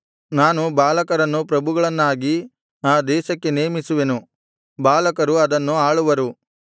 ನಾನು ಬಾಲಕರನ್ನು ಪ್ರಭುಗಳನ್ನಾಗಿ ಆ ದೇಶಕ್ಕೆ ನೇಮಿಸುವೆನು ಬಾಲಕರು ಅದನ್ನು ಆಳುವರು